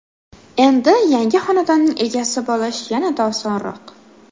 Endi yangi xonadonning egasi bo‘lish yanada osonroq.